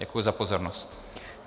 Děkuji za pozornost.